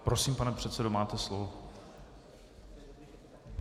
Prosím, pane předsedo, máte slovo.